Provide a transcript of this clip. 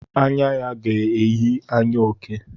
Anya ya ga-eyi anya oke.